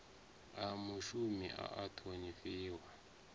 wa mushumi a a ṱhonifhiwa